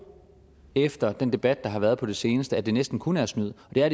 efter den debat der har været på det seneste altså at det næsten kun er snyd og det er